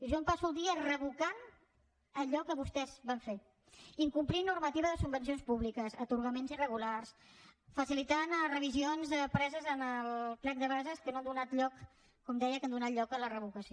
jo em passo el dia revocant allò que vostès van fer incomplir normativa de subvencions públiques atorgaments irregulars facilitant revisions preses en el plec de bases que han donat lloc com deia a la revocació